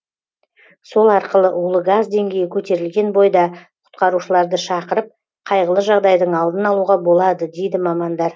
сол арқылы улы газ деңгейі көтерілген бойда құтқарушыларды шақырып қайғылы жағдайдың алдын алуға болады дейді мамандар